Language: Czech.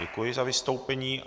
Děkuji za vystoupení.